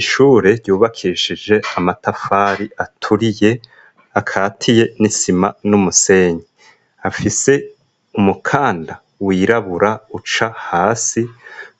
Ishure ryubakishije amatafari aturiye akatiye n'isima n'umusenyi afise umukanda wirabura uca hasi